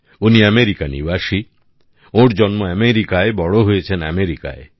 উনি আমেরিকা নিবাসী ওর জন্ম আমেরিকায় বড় হয়েছেন আমেরিকায়